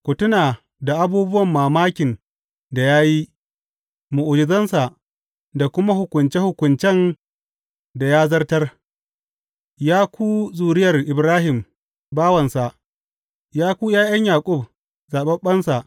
Ku tuna da abubuwan mamakin da ya yi, mu’ujizansa, da kuma hukunce hukuncen da ya zartar, Ya ku zuriyar Ibrahim bawansa, Ya ku ’ya’yan Yaƙub, zaɓaɓɓensa.